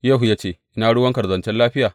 Yehu ya ce, Ina ruwanka da zancen lafiya?